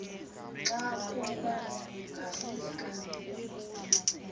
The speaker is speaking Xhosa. xa kuba ngafika